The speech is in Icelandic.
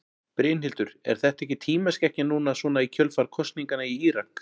Brynhildur: Er þetta ekki tímaskekkja núna svona í kjölfar kosninganna í Írak?